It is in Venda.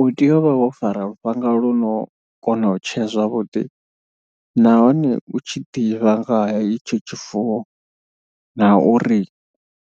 U tea u vha wo fara lufhanga lu no kona u tshea zwavhuḓi nahone u tshi ḓivha nga henetsho tshifuwo na uri